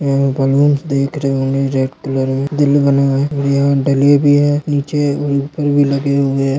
यह बालून्स देख रहे होंगे रेड कलर मे दिल बना हुआ है यहाँ डले भी है नीचे ऊपर भी लगे हुए है।